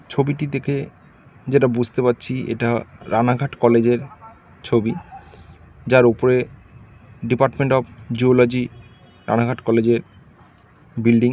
ছবিটি দেখে যেটা বুঝতে পারছি এটা রানাঘাট কলেজের ছবি । যার উপরে ডিপার্টমেন্ট অফ জিয়োলজি রানাঘাট কলেজের বিল্ডিং ।